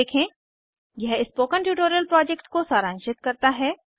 httpspoken tutorialorg What a Spoken Tutorial यह spoken tutorial project को सारांशित करता है